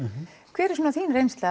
hver er svona þín reynsla